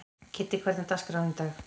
Kiddi, hvernig er dagskráin í dag?